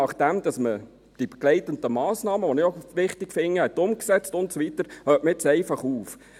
Nachdem man die begleitenden Massnahmen, die ich auch wichtig finde, umgesetzt hat und so weiter, hört man jetzt einfach auf.